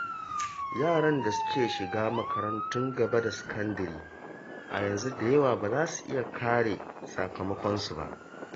Yaran da suke shiga makarantun gaba da sakandire a yanzu da yawa ba za su iya kare sakamakonsu ba.